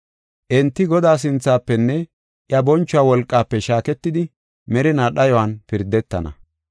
Enti Godaa sinthafenne iya bonchuwa wolqaafe shaaketidi merinaa dhayuwan pirdetana.